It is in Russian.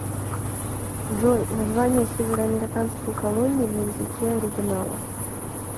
джой название североамериканские колонии на языке оригинала